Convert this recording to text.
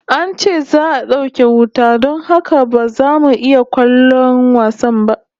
An ce za'a dauke wuta don haka ba za mu iya kallon wasan ba